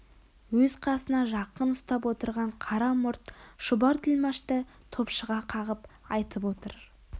өз қасына жақын ұстап отырған қара мұрт шұбар тілмашты топшыға қағып айтып отыр